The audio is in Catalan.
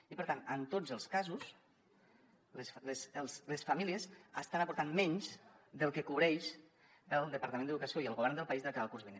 i per tant en tots els casos les famílies estan aportant menys del que cobreixen el departament d’educació i el govern del país de cara al curs vinent